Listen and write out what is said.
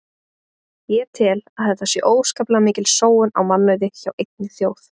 Ég tel að þetta sé óskaplega mikil sóun á mannauði hjá einni þjóð.